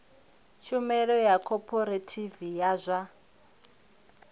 tshumelo ya khophorethivi ya zwa